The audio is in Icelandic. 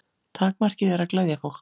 Takmarkið er að gleðja fólk.